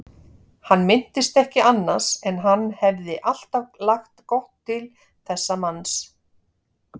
Hann minntist ekki annars en hann hefði alltaf lagt gott til þessa manns.